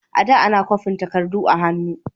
A da, ana kwafi takardu da hannu.